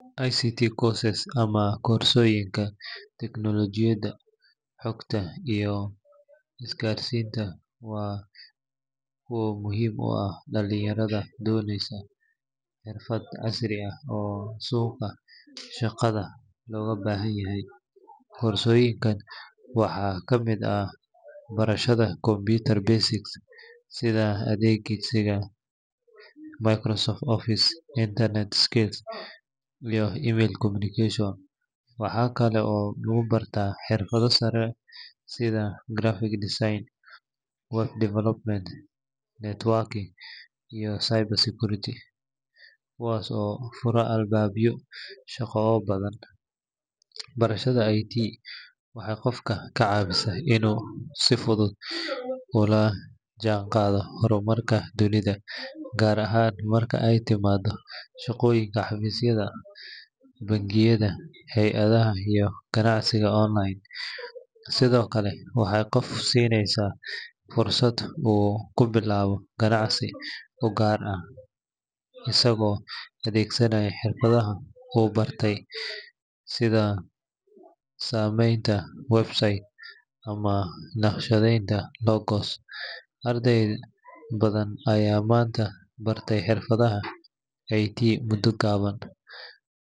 Ict courses ama koodsoyinka teknologiyada xogta iyo iskarsinta wa muxim u ah dalanyaradho doneysa xirfad casri ah oo suqa shaqadha loga bahanyahay. qorsoyinkan waxa kamid ah barashadha computer basic sidha adeegsiga microsoft office, internet skills, iyo communication waxa Kala oo lagu barta xirfadha sara sidha grafic decine, one development, networking, iyo cyber security kuwas oo fura albabyo shaqo oo badhan. barashadha IT waxa qofka kacawisa inuu si fudhud ula janqadha hormarka dunidha. gaar ahaan marka ay timado shaqoyinka xafisyadha bankiyadha heey adhaha iyo ganacsiga online sidhokale waxay qof sineysa fursad u kubilaba ganacsi u gaar ah isago adegsanaya xirfadhaha u bartay sidha sameynta website naqshadheynta oo lokos. arday badhan Aya manta bartay xirfadhaha IT muda gaban.